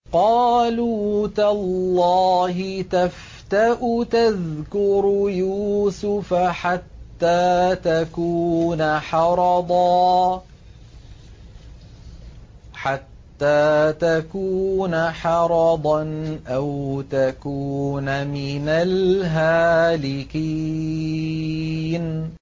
قَالُوا تَاللَّهِ تَفْتَأُ تَذْكُرُ يُوسُفَ حَتَّىٰ تَكُونَ حَرَضًا أَوْ تَكُونَ مِنَ الْهَالِكِينَ